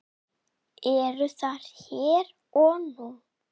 Er það hér og nú?